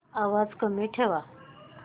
आवाज कमी ठेवा